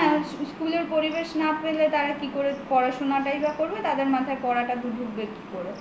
হ্যা স্কুলের পরিবেশ না পেলে তারা কিভাবে পড়াশোনাটাই করবে তাদের মাথায় পড়াটা ঢুকবে কি করে